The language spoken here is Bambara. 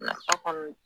Nafa kɔni